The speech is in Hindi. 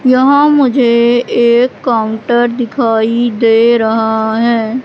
यहां मुझे एक काउंटर दिखाई दे रहा है।